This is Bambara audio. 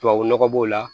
Tubabu nɔgɔ b'o la